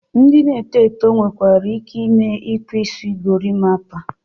Ndị na-eto eto nwekwara ike ime Ikpu Isi Gorimpa